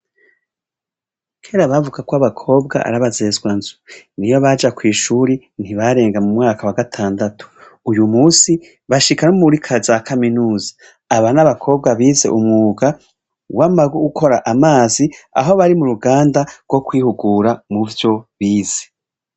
Kera bavuga kw'abakobwa arabazezwanzu, niyo baja kw'ishuri ntibarenga mu mwaka wa gatandatu, uyu munsi bashika no muri za kaminuza, aba n'abakobwa bize umwuga wo gukora amazi, aho bari muruganda gwo kwihugura muvyo bize.